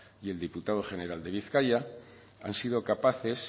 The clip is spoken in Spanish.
y el diputado general de bizkaia han sido capaces